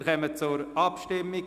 Wir kommen zur Abstimmung.